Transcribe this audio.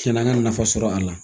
Tiɲɛna n ye nafa sɔrɔ a la